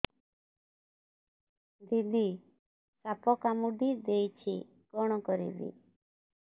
ଦିଦି ସାପ କାମୁଡି ଦେଇଛି କଣ କରିବି